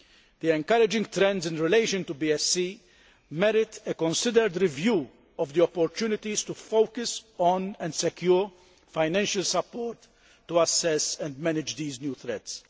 The encouraging trends in relation to BSE merit a considered review of the opportunities to focus on, and secure, financial support to assess and manage these new threats.